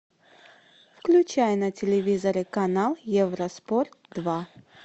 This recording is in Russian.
включай на телевизоре канал евроспорт два